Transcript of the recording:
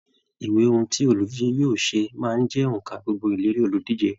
Ìwé ohùn tí oludije yóò ṣe máa ń jẹ onka gbogbo ìlérí oludije.